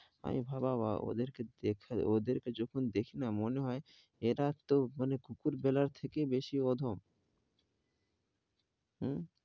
আমি ভাবা, ওদের কে দেখে, ওদের যখন দেখি না, মনে হয়, এরা তো মানে কুকুর বিড়াল এর থেকো ও বেশি অধম. হম